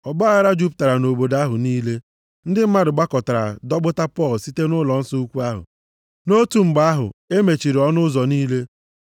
Ọgbaaghara jupụtara nʼobodo ahụ niile. Ndị mmadụ gbakọtara dọkpụpụta Pọl site nʼụlọnsọ ukwu ahụ. Nʼotu mgbe ahụ, e mechiri ọnụ ụzọ niile.